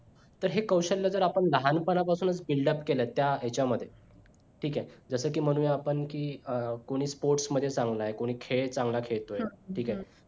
तर हे कौशल्य जर आपण लहान पनापासूनच buildup केल तर त्या ह्याच्या मध्ये ठीक आहे जस कि म्हणूया आपण कि अं कोणी sports मध्ये चांगला आहे कोणी खेळ चांगला खेळतोय ठीक आहे